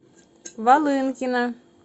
волынкина